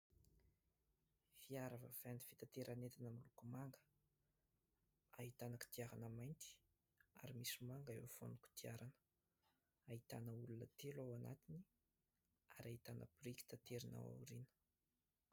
Fiara vaventy fitaterana entana miloko manga ahitana kodiarana mainty ary misy manga eo afovoan'ny kodiarana. Ahitana olona telo ao anatiny ary ahitana boriky taterina ao aoriana.